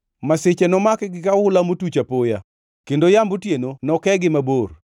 Masiche nomakgi ka ohula motuch apoya; kendo yamb otieno nokegi mabor.